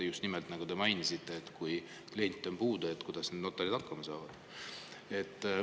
Just nimelt, nagu te mainisite, kui kliente on, siis kuidas notarid hakkama saavad.